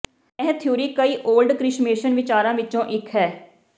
ਇਹ ਥਿਊਰੀ ਕਈ ਓਲਡ ਕ੍ਰਿਸ਼ਮੇਸ਼ਨ ਵਿਚਾਰਾਂ ਵਿੱਚੋਂ ਇੱਕ ਹੈ